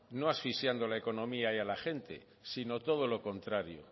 no asfixiando la economía y a la gente sino todo lo contrario